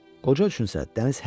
Qoca üçün isə dəniz hər şey idi.